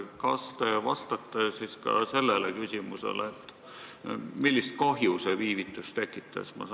Kas te vastaksite ka sellele küsimusele, millist kahju see viivitus tekitas?